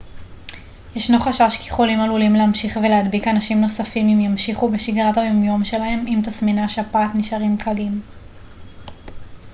ישנו חשש כי חולים עלולים להמשיך ולהדביק אנשים נוספים אם ימשיכו בשגרת היום יום שלהם אם תסמיני השפעת נשארים קלים